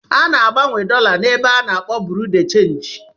A ná-agbanwe dọla na-ébé a n'akpọ Bureau de change